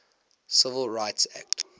civil rights act